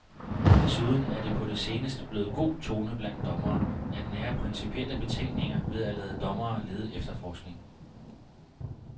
Desuden er det på det seneste blevet god tone blandt dommere at nære principielle betænkeligheder ved at lade dommere lede efterforskning.